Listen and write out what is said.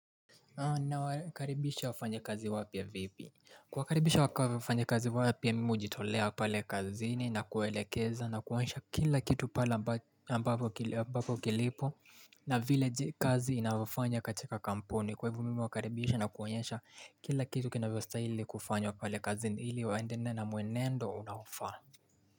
Unawakakaribisha wafanya kazi wapya vipi? Kuwakaribisha wafanyakazi wapya mimi hujitolea pale kazini na kuwelekeza na kuwoanyesha kila kitu pala ambapo kilipo na vile kazi inavyofanya katika kampuni kwa hivyo mimi huwakaribisha na kuwaonyesha kila kitu kinavyostahili kufanywa pale kazini ili waendane na mwenendo unaofaa.